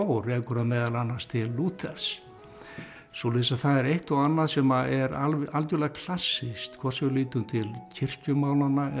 rekur það meðal annars til Lúthers svoleiðis að það er eitt og annað sem er algjörlega klassískt hvort sem við lítum til kirkjumálanna eða